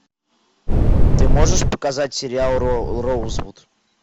ты можешь показать сериал роузвуд